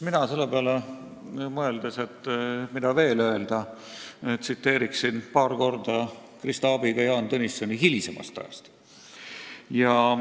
Mina selle peale – mõeldes, mida veel öelda – tsiteerin Krista abiga paar korda Jaan Tõnissoni hilisemast ajast.